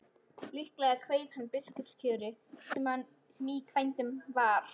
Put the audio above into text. Líklega kveið hann biskupskjörinu sem í vændum var.